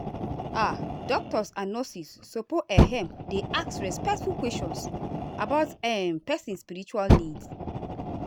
ah doctors and nurses suppose ehm dey ask respectful questions about um person spiritual needs.